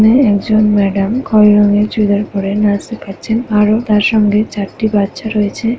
এখানে একজন ম্যাডাম খইরী রঙের চুড়িদার পরে নাচ শেখাচ্ছেন আরো তার সঙ্গে চারটি বাচ্চা রয়েছে ।